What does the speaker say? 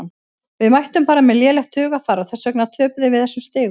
Við mættum bara með lélegt hugarfar og þess vegna töpuðum við þessum stigum.